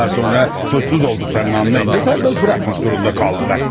Daha sonra, suçsuz olduqlarını anlayınca sərbəst buraxmaq zorunda qaldılar.